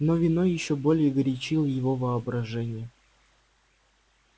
но вино ещё более горячило его воображение